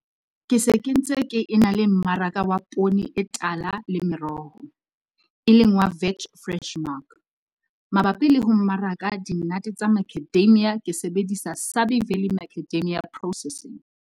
Ke se ke ntse ke ena le mmaraka wa poone e tala le meroho, e leng wa Veg Fresh Mark. Mabapi le ho mmaraka dinnate tsa Macadamia ke sebedisa Sabie Valley Macadamia Processing.